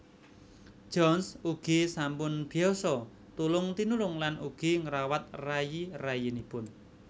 Johns ugi sampun biasa tulung tinulung lan ugi ngrawat rayi rayinipun